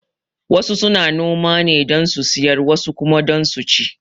Wasu suna noma ne don su siyar wasu kuma don su ci